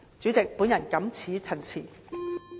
主席，我謹此陳辭。